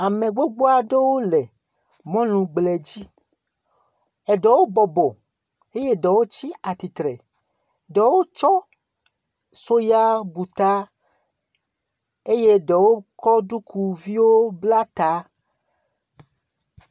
Ame gbobo aɖewo le mɔlu gble dzi. Eɖewo bɔbɔ eye eɖewo tsi atsitre, ɖewo tsɔ soya bu ta eye ɖewo kɔ ɖukuviwo bla ta.